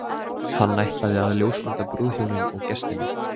Hann ætlaði að ljósmynda brúðhjónin og gestina.